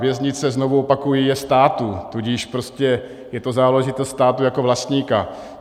Věznice, znovu opakuji, je státu, tudíž je to záležitost státu jako vlastníka.